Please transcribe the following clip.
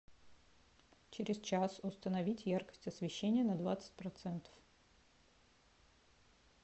через час установить яркость освещения на двадцать процентов